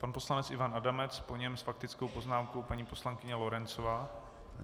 Pan poslanec Ivan Adamec, po něm s faktickou poznámkou paní poslankyně Lorencová.